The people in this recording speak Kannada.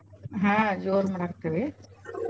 ಹಾ ಜೋರ್ ಮಾಡಾಕತ್ತೇವಿ.